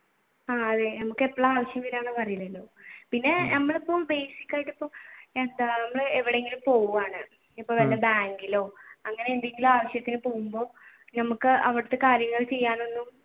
അതെ നമുക്ക് എപ്പളാ ആവശ്യം പിന്നെ നമ്മളിപ്പോ basic ആയിട്ട് എന്താ നമ്മൾ ഇപ്പൊ എവിടേലും പോവാണ് വല്ല ബാങ്കിലോ അങ്ങനെയെന്തെങ്കിലും ആവശ്യത്തിന് പോകുമ്പോൾ ഞമ്മക്ക് അവിടത്തെ കാര്യങ്ങൾ ചെയ്യാനൊന്നും